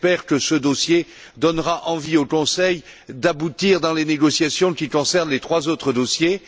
j'espère que ce dossier donnera envie au Conseil d'aboutir dans les négociations qui concernent les trois autres dossiers.